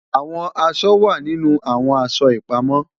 Awọn aṣọ wa ninu awọn aṣọ ipamọ